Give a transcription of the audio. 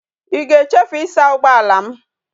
I ga echefu i saa ugboala m?